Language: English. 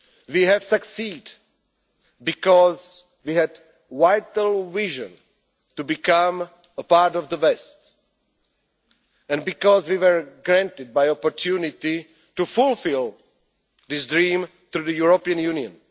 We have succeeded because we had a vital vision to become a part of the West, and because we were granted the opportunity to fulfil this dream through the European Union.